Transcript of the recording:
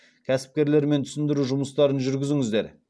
кәсіпкерлермен түсіндіру жұмыстарын жүргізіңіздер